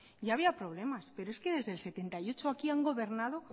ya había problemas pero es que desde mil novecientos setenta y ocho a aquí han gobernado